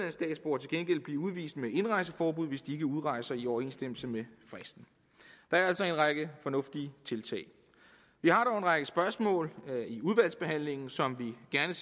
vil blive udvist med indrejseforbud hvis de ikke udrejser i overensstemmelse med fristen der er altså en række fornuftige tiltag vi har dog en række spørgsmål som vi gerne